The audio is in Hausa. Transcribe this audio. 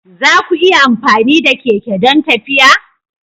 Za ku iya amfani da keke don tafiya?